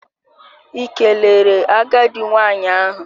Ị kelere agadi nwanyị ahụ?